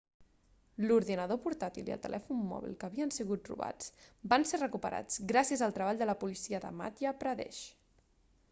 l'ordinador portàtil i el telèfon móbil que havien sigut robats van ser recuperats gràcies al treball de la policia de madhya pradesh